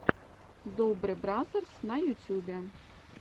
добре бразерс на ютюбе